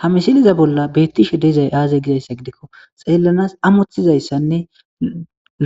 ha misiliza bolla beettishe dizay aazey gizayssa gidikko xeellanas amoththizayssanne